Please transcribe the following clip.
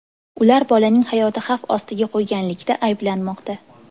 Ular bolaning hayotini xavf ostiga qo‘yganlikda ayblanmoqda.